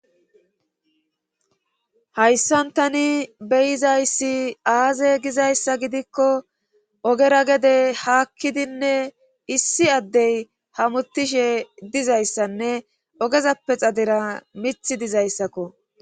hayssan tani beyizayssi aaze gizayssa gidikko ogera gede haakkidinne issi addey hamuttishe dizayssanne ogezappe xadira mith dizayssakko